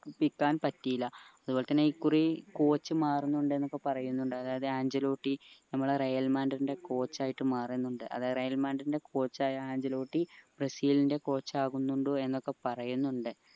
പറ്റീല അതേപോലെ തന്നെ ഈ കുറി coach മാറുന്നുണ്ട് എന്നൊക്കെ പറയുന്നുണ്ട് അതായത് ആഞ്ചെലോട്ടി നമ്മള റയൽ മാഡ്രിഡിന്റെ coach ആയിട്ട് മാറുന്നുണ്ട് അതെ റയൽ മാഡ്രിഡിന്റെ coach ആയ ആഞ്ചെലോട്ടി ബ്രസീലിന്റെ coach ആകുന്നുണ്ട് എന്നൊക്കെ പറയുന്നുണ്ട്